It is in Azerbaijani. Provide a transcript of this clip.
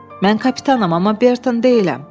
Mən kapitanam, amma Berton deyiləm.